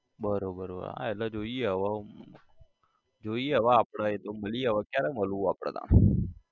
બરોબર બરોબર હા એટલે જોઈએ હવે જોઈએ હવે આપડે એતો મળીએ હવે ક્યારે મળવું આપડે તાણ?